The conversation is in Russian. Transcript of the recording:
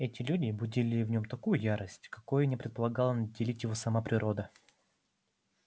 эти люди будили в нём такую ярость какой не предполагала наделить его и сама природа